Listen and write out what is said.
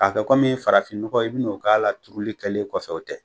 Ka kɛ farafinɲɔgɔ i bi n'o k'a la turuli kɛlen kɔfɛ o tɛ.